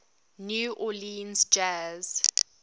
new orleans jazz